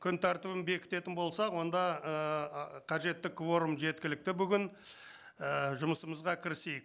күн тәртібін бекітетін болсақ онда ыыы қажетті кворум жеткілікті бүгін ы жұмысымызға кірісейік